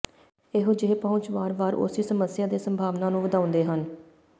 ਇਹੋ ਜਿਹੇ ਪਹੁੰਚ ਵਾਰ ਵਾਰ ਉਸੀ ਸਮੱਸਿਆ ਦੇ ਸੰਭਾਵਨਾ ਨੂੰ ਵਧਾਉਂਦੇ ਹਨ